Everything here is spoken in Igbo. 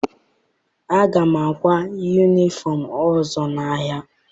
Aga m akwa yunifọm ọzọ n'ahịa.